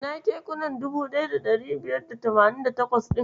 Ina kekuna 1588 ɗin?